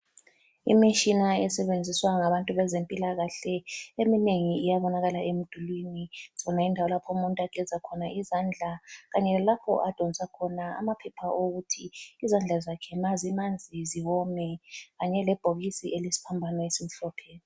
lmishina esebenziswa ngabantu bezempilakahle eminengi iyabonakala emdulwini, sibona indawo lapho umuntu ageza khona izandla kanye lalapho adonsa khona amaphepha okuthi izandla zakhe ma zimanzi ziwome kanye lebhokisi ele sphambano esimhlophe.